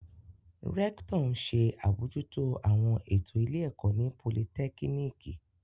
Rẹktọ n ṣe abojuto awọn eto ile ẹkọ ti politekiniki